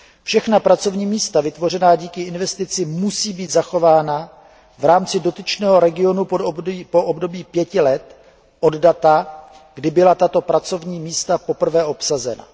Všechna pracovní místa vytvořená díky investici musí být zachována v rámci dotyčného regionu po období pěti let od data, kdy byla tato pracovní místa poprvé obsazena.